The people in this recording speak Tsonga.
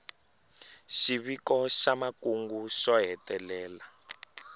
xiviko xa makungu xo hetelela